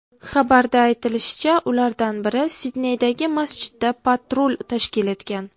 Xabarda aytilishicha, ulardan biri Sidneydagi masjidda patrul tashkil etgan.